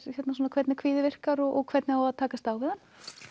hvernig kvíði virkar og hvernig á að takast á við hann